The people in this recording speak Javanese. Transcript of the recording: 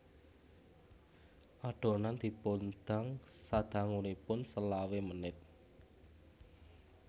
Adonan dipundang sadangunipun selawe menit